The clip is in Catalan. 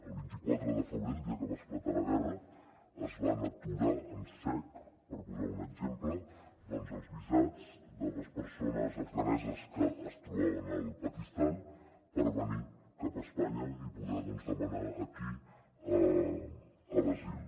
el vint quatre de febrer el dia que va esclatar la guerra es van aturar en sec per posar ne un exemple els visats de les persones afganeses que es trobaven al pakistan per venir cap a espanya i poder demanar aquí l’asil